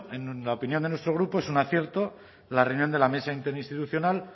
en la opinión de nuestro grupo es un cierto la reunión de la mesa interinstitucional